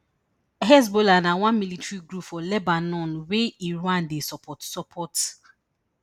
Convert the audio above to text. hezbollah na one military group for lebanon wey iran dey support support